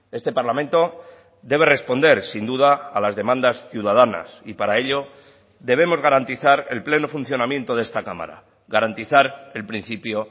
este parlamento debe responder sin duda a las demandas ciudadanas y para ello debemos garantizar el pleno funcionamiento de esta cámara garantizar el principio